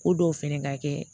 Ko dɔw fɛnɛ ka kɛ